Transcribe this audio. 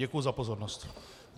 Děkuji za pozornost.